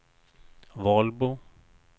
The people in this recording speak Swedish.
Valbo